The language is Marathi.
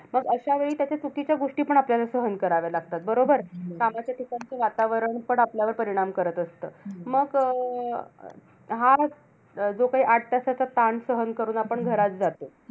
मग अश्यावेळी त्याच्या चुकीच्या गोष्टीपण आपल्याला सहन कराव्या लागतात. बरोबर? कामाच्या ठिकाणचं वातावरणपण आपल्यावर परिणाम करत असतं. मग अं हा अं जो काही आठ तासाचा ताण सहन करून आपण घरात जातो,